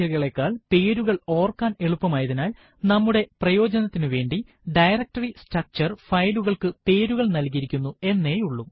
വലിയ സംഖ്യകളെക്കാൾ പേരുകൾ ഓർക്കാൻ എളുപ്പമായതിനാൽ നമ്മുടെ പ്രയോജനതിനുവേണ്ടി ഡയറക്ടറി സ്ട്രക്ചർ ഫയലുകൾക്ക് പേരുകൾ നല്കിയിരിക്കുന്നു എന്നേയുള്ളൂ